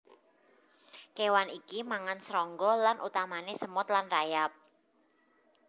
Kéwan iki mangan srangga lan utamané semut lan rayap